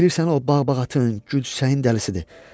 Bilirsən o bağ-bağatın, güldü-səyin dəlisidir.